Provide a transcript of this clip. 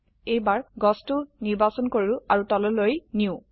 এইবাৰ গছটি নিৰ্বাচন কৰো আৰু তললৈ নিয়ো